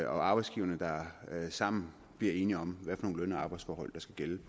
arbejdsgiverne der sammen bliver enige om hvad for nogle løn og arbejdsforhold der skal